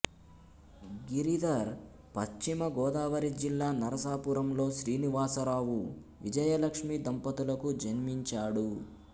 గిరిధర్ పశ్చిమ గోదావరి జిల్లా నరసాపురం లో శ్రీనివాసరావు విజయలక్ష్మి దంపతులకు జన్మించాడు